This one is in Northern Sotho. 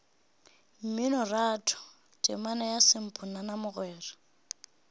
mminoratho temana ya samponana mogwera